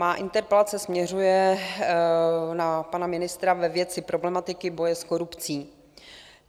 Má interpelace směřuje na pana ministra ve věci problematiky boje s korupcí.